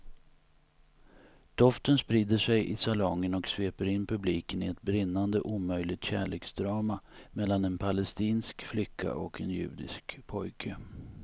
Doften sprider sig i salongen och sveper in publiken i ett brinnande omöjligt kärleksdrama mellan en palestinsk flicka och en judisk pojke.